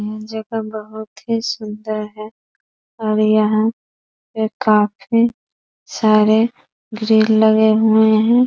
ये जगह बहुत ही सुंदर है और यहाँ काफी सारे ग्रिल लगे हुए हैं।